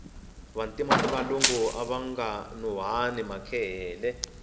vantima ni valungu avanga nuhwari makehele